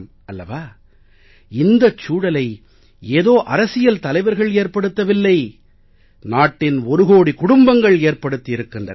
அல்லவா இந்த சூழலை ஏதோ அரசியல் தலைவர்கள் ஏற்படுத்தவில்லை நாட்டின் ஒரு கோடி குடும்பங்கள் ஏற்படுத்தி இருக்கின்றன